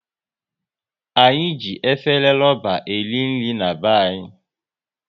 Anyị e jighị efere ruba e ri nri n'be anyị